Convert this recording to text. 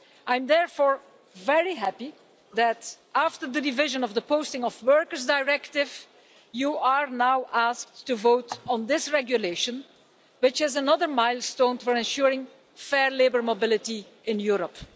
I am therefore very happy that, after the division of the Posting of Workers Directive, you are now asked to vote on this regulation, which is another milestone for ensuring fair labour mobility in Europe.